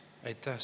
Aitäh!